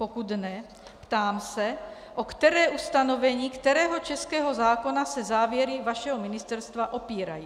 Pokud ne, ptám se, o které ustanovení kterého českého zákona se závěry vašeho ministerstva opírají.